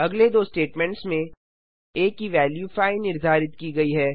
अगले दो स्टेटमेंट्स में आ की वेल्यू 5 निर्धारित की गयी है